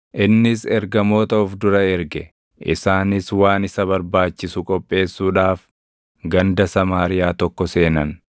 Innis ergamoota of dura erge; isaanis waan isa barbaachisu qopheessuudhaaf ganda Samaariyaa tokko seenan.